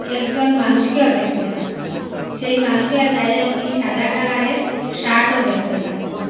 একজন মানুষকেও দ্যাখতে পাচ্চি সেই মানুষের গায়ে একটি সাদা কালারের শার্টও দ্যাখতে পাচ্চি।